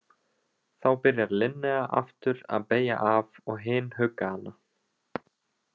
Þá byrjar Linnea aftur að beygja af og hin hugga hana.